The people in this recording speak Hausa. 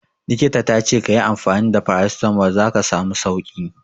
Likita ta ce ka yi amfani da Paracetamol za ka samu sauki.